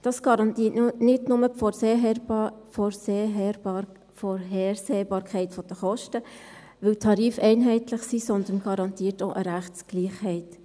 Dies garantiert nicht nur die Vorhersehbarkeit der Kosten, weil die Tarife einheitlich sind, sondern auch eine Rechtsgleichheit.